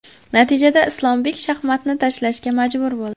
Natijada Islombek shaxmatni tashlashga majbur bo‘ldi.